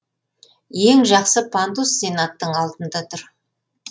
ең жақсы пандус сенаттың алдында тұр